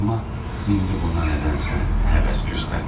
Amma indi buna nədənsə həvəs göstərmədi.